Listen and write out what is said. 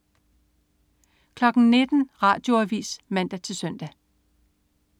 19.00 Radioavis (man-søn)